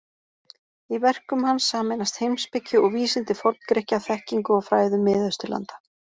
Í verkum hans sameinast heimspeki og vísindi Forn-Grikkja þekkingu og fræðum Mið-Austurlanda.